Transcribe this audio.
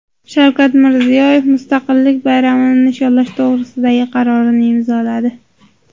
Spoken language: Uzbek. Shavkat Mirziyoyev Mustaqillik bayramini nishonlash to‘g‘risidagi qarorni imzoladi.